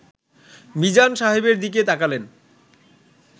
মিজান সাহেবের দিকে তাকালেন